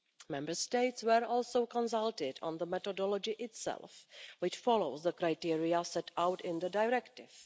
Member States were also consulted on the methodology itself, which follows the criteria set out in the directive.